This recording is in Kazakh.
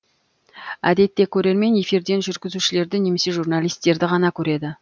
әдетте көрермен эфирден жүргізушілерді немесе журналистерді ғана көреді